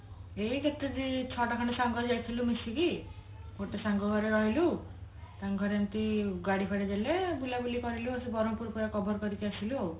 ଏଇ କେତେ ଦିଛଅ ଟା ସାଙ୍ଗ ଯାଇଥିଲୁ ମିଶିକି ଗୋଟେ ସାଙ୍ଗ ଘରେ ରହିଲୁ ଟଣକ ଘରେ ଏମତି ଗାଡି ଫାଡି ଦେଲେ ବୁଲ ବୁଲି କରିଲୁ ଆଉ ସେ ବ୍ରହ୍ମପୁର ପୁରା cover କରିକି ଆସିଲୁ ଆଉ